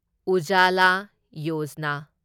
Ujjwala Yojana